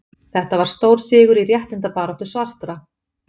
Þetta var stór sigur í réttindabaráttu svartra.